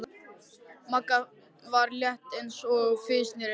Magga, sem var létt eins og fis, sneri öfugt.